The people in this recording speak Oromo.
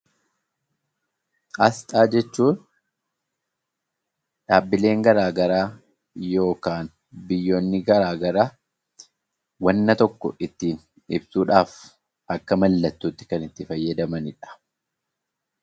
Asxaan jechuun dhaabbileen garaagaraa yookaan biyyoonni garaagaraa wanta tokko ittiin ibsuudhaaf akka mallattootti kan itti fayyadamanidha.